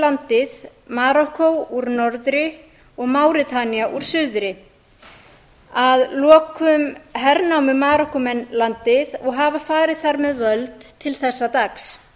landið marokkó úr norðri og máritanía úr suðri að lokum hernámu marokkómenn landið og hafa farið þar með völd til þessa dags